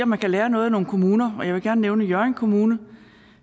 man kan lære noget af nogle kommuner og jeg vil gerne nævne hjørring kommune